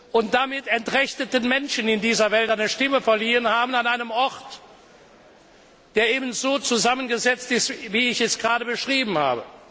haben und damit entrechteten Menschen in dieser Welt eine Stimme verliehen haben an einem Ort, der ebenso zusammengesetzt ist, wie ich es gerade beschrieben habe.